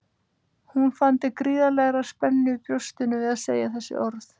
Hún fann til gríðarlegrar spennu í brjóstinu við að segja þessi orð.